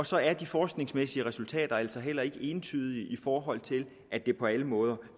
så er de forskningsmæssige resultater altså heller ikke entydige i forhold til at det på alle måder